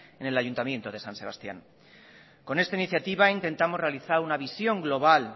en el ayuntamiento de san sebastián con esta iniciativa intentamos realizar una visión global